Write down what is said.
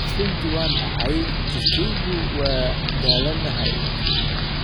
Runtii waan da'ahay, jidhkaygu waa daalanahay.